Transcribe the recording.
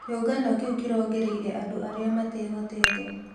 Kĩũngano kĩu kĩrongoreirie andũ arĩa matehotete